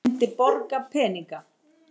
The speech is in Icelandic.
Svo myndi ég borga peninga